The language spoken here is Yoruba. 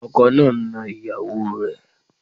Ọkọ náà ń ná ìyàwó o rẹ̀.